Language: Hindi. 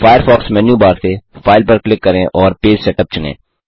फ़ायरफ़ॉक्स मेन्यू बार से फाइल पर क्लिक करें और पेज सेटअप चुनें